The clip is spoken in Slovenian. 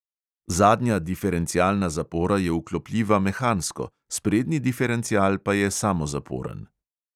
Zadnja diferencialna zapora je vklopljiva mehansko, sprednji diferencial pa je samozaporen.